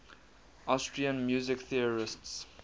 austrian music theorists